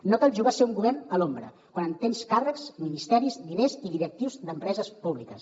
no cal jugar a ser un govern a l’ombra quan tens càrrecs ministeris diners i directius d’empreses públiques